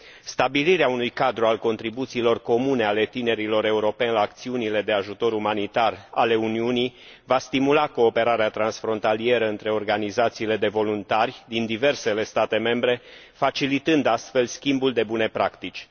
Stabilirea unui cadru al contribuțiilor comune ale tinerilor europeni la acțiunile de ajutor umanitar ale Uniunii va stimula cooperarea transfrontalieră între organizațiile de voluntari din diversele state membre, facilitând, astfel, schimbul de bune practici.